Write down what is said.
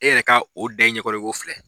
E yɛrɛ ka o da i ɲɛ kɔrɔ i ko filɛ.